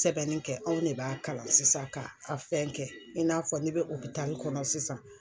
sɛbɛnnin kɛ anw ne b'a kalan sisan k'a fɛn kɛ in n'a fɔ n'i bɛ kɔnɔ sisan.